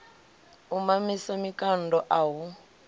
u mamisa mikando a hu